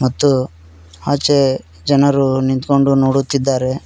ಮತ್ತು ಆಚೆ ಜನರು ನಿಂತ್ಕೊಂಡು ನೋಡುತ್ತಿದ್ದಾರೆ.